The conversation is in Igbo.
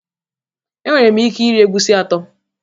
Enwere m ike iri egusi atọ